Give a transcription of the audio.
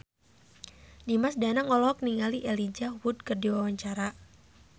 Dimas Danang olohok ningali Elijah Wood keur diwawancara